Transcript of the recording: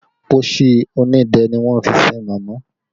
Pósí onídẹ́ ni wọ́n fi sin màmá